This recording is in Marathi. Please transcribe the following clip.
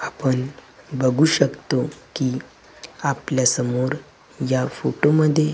आपण बघू शकतो की आपल्यासमोर या फोटो मध्ये--